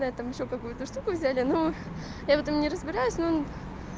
на этом ещё какую-то штуку взяли но я в этом не разбираюсь но